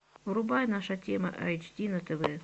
врубай наша тема эйч ди на тв